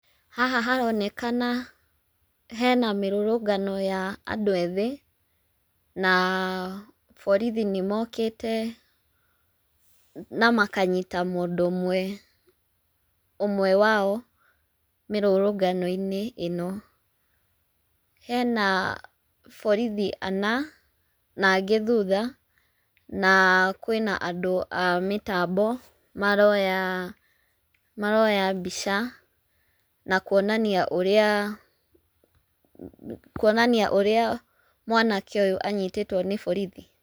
Haha haronekana hena mĩrũrũngano ya andũ ethĩ, na borithi nĩmokĩte na makanyita mũndũ ũmwe, ũmwe wao mĩrũrũngano-inĩ ĩno. Hena borithi ana na angĩ thutha na kwĩna andũ a mĩtambo maroya mbica na kuonania ũrĩa mwanake ũyũ anyitĩtwo nĩ borithi.